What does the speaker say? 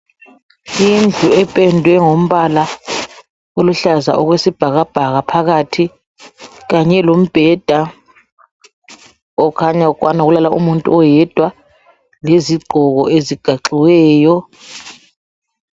Indlu ependwe ngombala oluhlaza okwesibhakabhaka phakathi, kanye lombheda okhanya ukwana ukulala umuntu oyedwa lezigqoko ezigaxiweyo.